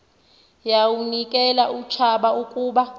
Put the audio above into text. yawunikel utshaba ukuba